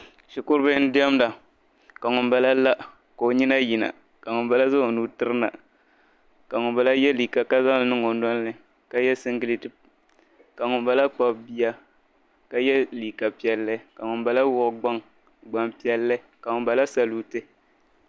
Shikuribihi n-diɛmda ka ŋumbala la ka o nyina yina ka ŋumbala ka zaŋ o nuu tirina ka ŋumbala ye liika ka zaŋ li niŋ o noli ni ka ye siŋgileeti ka ŋumbala kpabi bia ka ye liika piɛlli ka ŋumbala wuhi gbampiɛlli ka ŋumbala saluuti.